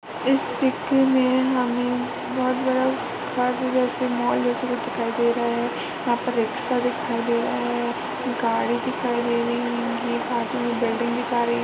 इस चित्र में हमें बहुत बड़ा मॉल जैसा कुछ दिखाई दे रहा है। यहाँं पर रिक्शा दिखाई दे रहा है। गाड़ी दिखाई दे रही है एक साइड में बिल्डिंग दिखाई --